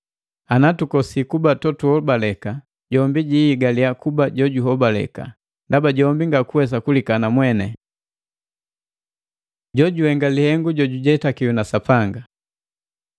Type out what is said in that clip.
Anatukosiki kuba totuhobaleka, jombi jihigaliya kuba jojuhobaleka, ndaba jombi ngakuwesa kulikana mweni.” Jojuhenga lihengu jojujetakiwa na Sapanga